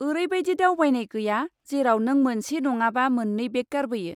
ओरैबायदि दावबायनाय गैया जेराव नों मोनसे नङाबा मोन्नै बेग गारबोयो।